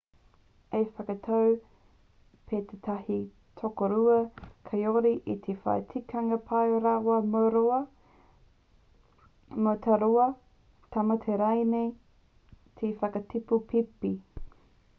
ka whakatau pea tētahi tokorua kāore i te whai tikanga pai rawa mō rāua mō tā rāua tamaiti rānei te whakatipu pēpi